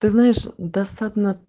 ты знаешь да